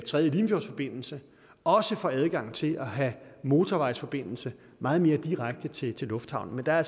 tredje limfjordsforbindelse også får adgang til at have mortorvejsforbindelse meget mere direkte til til lufthavnen der er